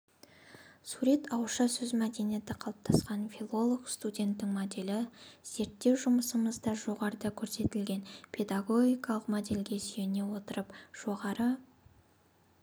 сурет ауызша сөз мәдениеті қалыптасқан филолог-студенттің моделі зерттеу жұмысымызда жоғарыда көрсетілген педагогикалық модельдерге сүйене отырып жоғары